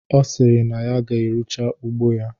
Ọ sịrị na ya ga-eruche ugbo ya